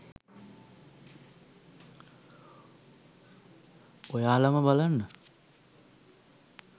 ඔයාලම බලන්න.